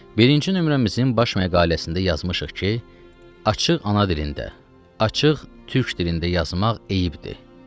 Birinci nömrəmizin baş məqaləsində yazmışıq ki, açıq ana dilində, açıq türk dilində yazmaq əyibdir.